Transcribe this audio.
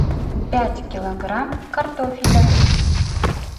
пять килограмм картофеля